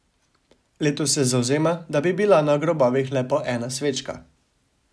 Letos se zavzema, da bi bila na grobovih le po ena svečka.